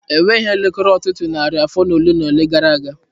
Enweghị elekere Ọtụtụ narị afọ ole na ole gara aga.